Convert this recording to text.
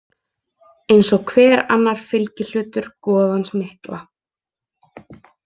Eins og hver annar fylgihlutur goðans mikla.